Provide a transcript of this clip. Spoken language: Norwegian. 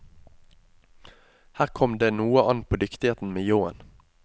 Her kom det noe an på dyktigheten med ljåen.